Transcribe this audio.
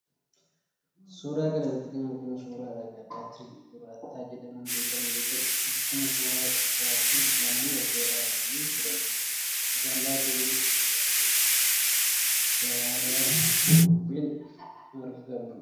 Suuraa kana irratti kan arginu suuraa dhagaa baatirii 'Durata' jedhamuun beekamu yoo ta'u, akkuma suuraa irraa arginu laman wal biraa dhaabamanii jiraniidha. Dhagaan baatirii kunis yeroo ammaa gabaa irraa hin argamu.